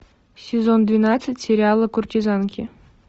сезон двенадцать сериала куртизанки